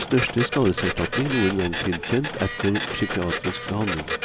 Det var den største skadeserstatning noen gang tilkjent etter psykiatrisk behandling.